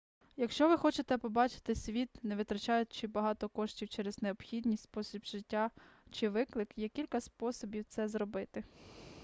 якщо ви хочете побачити світ не витрачаючи багато коштів через необхідність спосіб життя чи виклик є кілька способів це зробити